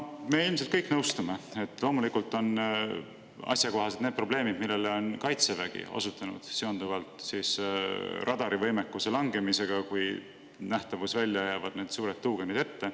Me ilmselt kõik nõustume, et loomulikult on asjakohased need probleemid, millele on osutanud Kaitsevägi seonduvalt radarivõimekuse langemisega, kui nähtavusväljale jäävad need suured tuugenid ette.